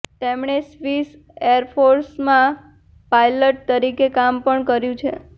તેમણે સ્વીસ એરફોર્સમાં પાયલટ તરીકે કામ પણ કર્યું છે